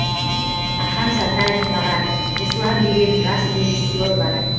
ақан сатаев маған руслан деген жас режиссер бар